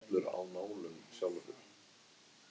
Hann mundi stela frá mér glasinu ef hann þyrði.